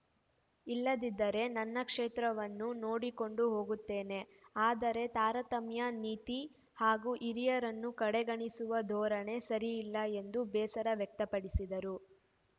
ಇಲ್ಲದಿದ್ದರೆ ನನ್ನ ಕ್ಷೇತ್ರವನ್ನು ನೋಡಿಕೊಂಡು ಹೋಗುತ್ತೇನೆ ಆದರೆ ತಾರತಮ್ಯ ನೀತಿ ಹಾಗೂ ಹಿರಿಯರನ್ನು ಕಡೆಗಣಿಸುವ ಧೋರಣೆ ಸರಿಯಲ್ಲ ಎಂದು ಬೇಸರ ವ್ಯಕ್ತಪಡಿಸಿದರು